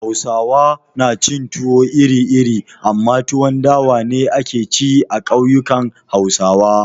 Hausawa na cin tuwo iri-iri amma tuwon dawa ne ake ci a kauyukan Hausawa.